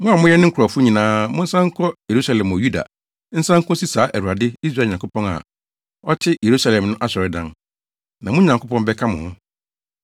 Mo a moyɛ ne nkurɔfo nyinaa, monsan nkɔ Yerusalem wɔ Yuda, nsan nkosi saa Awurade, Israel Nyankopɔn, a ɔte Yerusalem no asɔredan. Na mo Nyankopɔn bɛka mo ho.